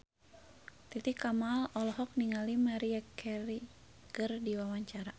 Titi Kamal olohok ningali Maria Carey keur diwawancara